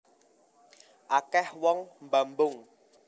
Akeh wong mbambung